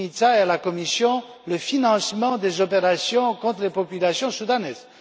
Mimica et à la Commission le financement des opérations contre les populations soudanaises.